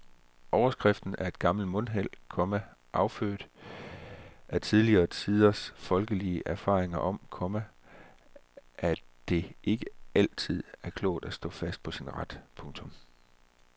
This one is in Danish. Overskriften er et gammelt mundheld, komma affødt af tidligere tiders folkelige erfaring om, komma at det ikke altid var klogt at stå fast på sin ret. punktum